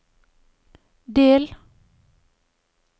del